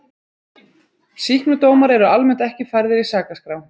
Sýknudómar eru almennt ekki færðir í sakaskrá.